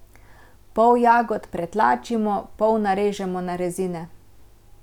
Pol jagod pretlačimo, pol narežemo na rezine.